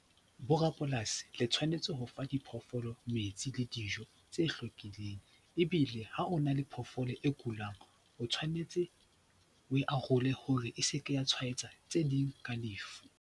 Borapolasi le tshwanetse ho fa diphoofolo metsi le dijo tse hlwekileng. Ebile ha o na le phoofolo e kulang, o tshwanetse o e arole hore e seke ya tshwaetsa tse ding ka lefu.